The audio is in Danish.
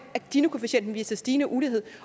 at ginikoefficienten viser stigende ulighed